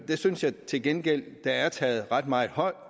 det synes jeg til gengæld der er taget ret meget hånd